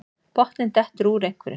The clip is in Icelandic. Botninn dettur úr einhverju